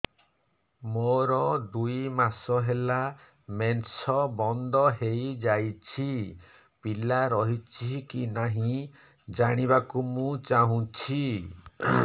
ମୋର ଦୁଇ ମାସ ହେଲା ମେନ୍ସ ବନ୍ଦ ହେଇ ଯାଇଛି ପିଲା ରହିଛି କି ନାହିଁ ଜାଣିବା କୁ ଚାହୁଁଛି